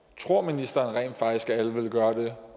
tror ministeren rent faktisk at alle ville gøre det